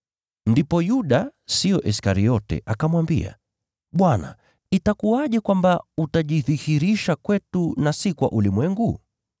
Ndipo Yuda, siyo Iskariote, akamwambia, “Bwana, itakuwaje kwamba utajidhihirisha kwetu na si kwa ulimwengu?”